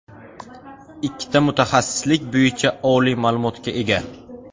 Ikkita mutaxassislik bo‘yicha oliy ma’lumotga ega.